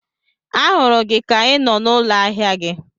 A hụrụ gị ka I nọ n'ụlọ ahịa gị